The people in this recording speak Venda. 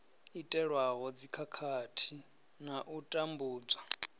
itelwa dzikhakhathi na u tambudzwa